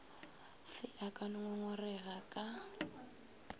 fe a ka ngongorega ka